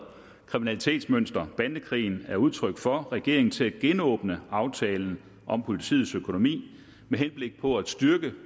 kriminalitetsmønster bandekrigen er udtryk for regeringen til at genåbne aftalen om politiets økonomi med henblik på at styrke